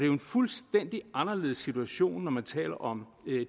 jo en fuldstændig anderledes situation når man taler om